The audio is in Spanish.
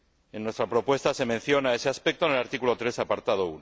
En nuestra propuesta se menciona ese aspecto en el artículo 3, apartado